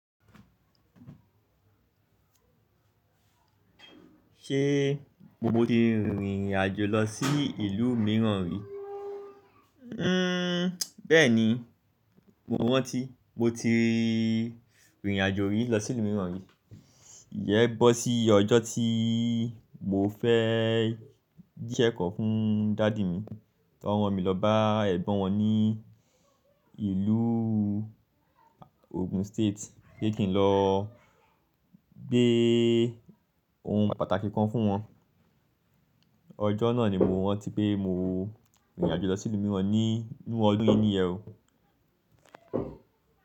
Ṣé mo ti rìnrìn àjò lọ sí ìlú mìíràn rí? Bẹ́ẹ̀ni, mo rántí mo ti rìnrìn àjò rí lọ sí ìlú mìíràn rí. Iyen bọ́ sí ọjọ́ tí mo fẹ́ je ise kan fún daddy mi, ti wọn ran mi lọ bá ẹ̀gbọ́n wọn ní ìlú Ogun State, pé kí n lọ gbé ohun pàtàkì kan fún wọn. Ọjọ́ náà ni mo rántí pé mo rìnrìn àjò lọ sí ìlú mìíràn ní inú ọdún yí níyẹ o.